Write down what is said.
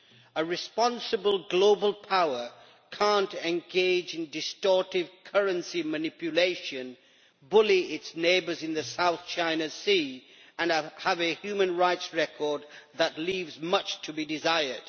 A responsible global power cannot engage in distortive currency manipulation, bully its neighbours in the South China Sea and have a human rights record that leaves much to be desired.